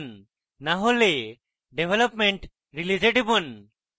না হলে development release এ টিপুন